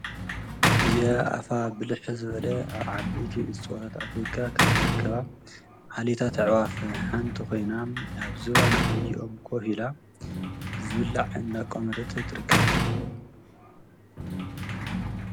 እዚኣ አፋ ብልሕ ዝበለ ኣብ ዓበይቲ እፅዋት ኣፍሪካ እትርከብ ዓሌታት ኣዕዋፍ ሓንቲ ኮይና ኣብ ዝባን ዓብዪ ኦም ኮፍ ኢላ ዝብልዕ እናቋመተት ትርከብ።